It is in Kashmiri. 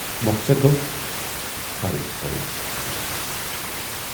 مۅخصر گَو فرٕض ہٲوِی عشقَس پٮ۪ٹھ۔